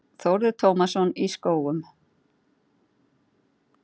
Þórður Tómasson í Skógum